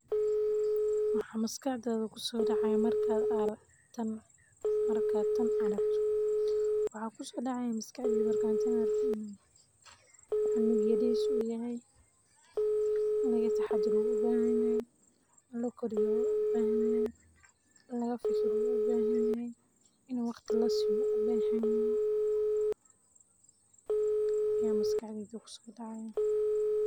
Maxaa maskaxda ku soo dhacaya markaad tan aragto, waxaa maskaxdeyda ku sodacde markan tan arko, cunug yaris u yahay in laga taxadaro u ubahan yahay, lakoriyo u ubahan yahay, in laga fikiro u ubahan yahay, ini waqti lasiyo u ubahan yahay, aya maskaxdeyda ku so dacaya.